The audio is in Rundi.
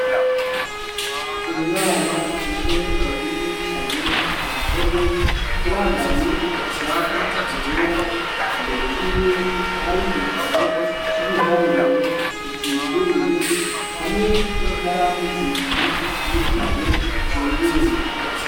Umwana umwe yari yicaye ku ntebe yambaye ishati ryera imbere yiwe hari igitabo c'ibiharuro kizinguruye hamwe n'ikaramu zibiri ni kaye izinguruye.